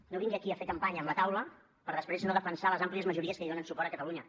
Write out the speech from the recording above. no vingui aquí a fer campanya amb la taula per després no defensar les àmplies majories que hi donen suport a catalunya